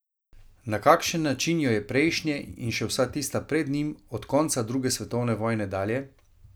Na kakšen način jo je prejšnje in še vsa tista pred njim, od konca druge svetovne vojne dalje?